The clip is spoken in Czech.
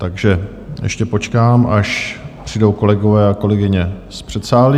Takže ještě počkám, až přijdou kolegové a kolegyně z předsálí.